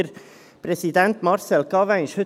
Der Präsident, Marcel Cavin, ist heute anwesend.